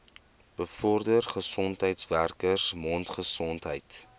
bevorder gesondheidswerkers mondgesondheid